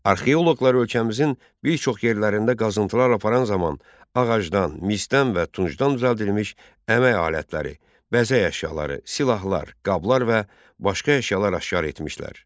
Arxeoloqlar ölkəmizin bir çox yerlərində qazıntılar aparan zaman ağacdan, misdən və tuncdan düzəldilmiş əmək alətləri, bəzək əşyaları, silahlar, qablar və başqa əşyalar aşkar etmişlər.